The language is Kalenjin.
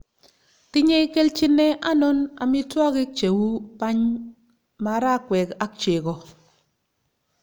tinye keljine anonon amitwogik che uu bany, marakwek ak chego